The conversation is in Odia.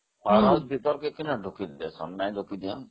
powerhouse ଭିତରକୁ ଯିବାକୁ ଅନମତି ନଥିଲା